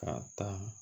Ka taa